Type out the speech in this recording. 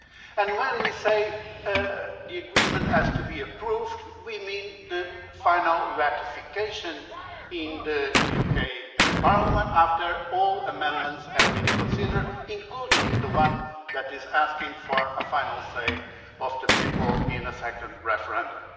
And when we say the Agreement has to be approved, we mean the final ratification in the UK Parliament after all amendments have been considered, including the one that is asking for a final say of the people in a second referendum.